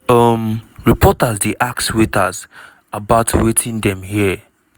um reporters dey ask waiters about wetin dem hear.